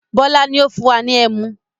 Bọlá ni ó fún wa ní ẹmu